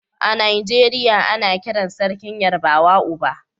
A Najeriya ana kiran Sarkin Yarbawa Oba.